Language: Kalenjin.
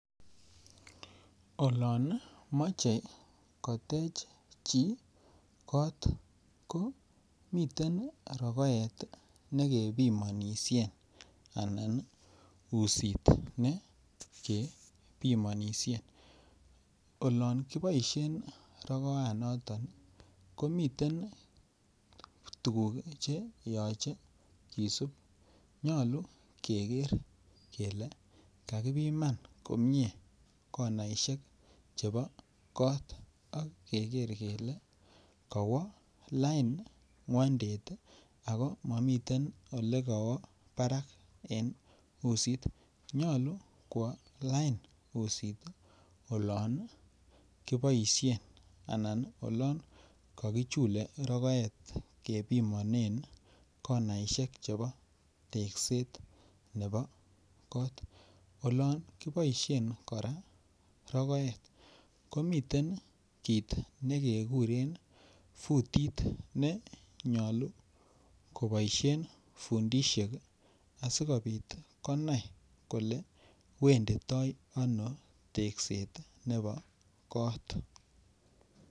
Olan mache kotech chi kot ko miten rokoet ne kepimanishen ananmiten usit ne kepimanishe. Olan kipimanishe rokoanoton komiten tuguuk che yachen kisup. Nyalu keker kele kakipiman komye konaishek chepo kot ak ke ker kele kawa lain ng'wandet ako mamitei ole kawa parak en usit, nyalu kowa lain usit olan kipaishen anan olan kakichule rokoet ye pimanen konaishek chepo tekset nepo kot. Olan kipaishen kora rokoet komiten kiit ne kekuren futit ne nyalu kopaishen fundishek asikopit konai kole wenditai ano tekset nepo koot